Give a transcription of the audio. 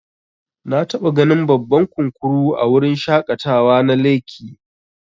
Nataba ganin babban kunkuru a wurin shaƙatawa na lekki.